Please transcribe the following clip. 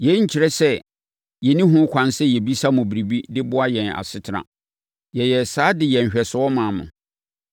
Yei nkyerɛ sɛ na yɛnni ho ɛkwan sɛ yɛbisa mo biribi de boa yɛn asetena. Yɛyɛɛ saa de yɛɛ nhwɛsoɔ maa mo.